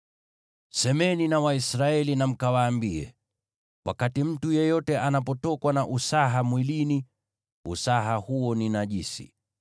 “Semeni na Waisraeli mwaambie: ‘Wakati mtu yeyote anapotokwa na usaha mwilini, usaha huo ni najisi.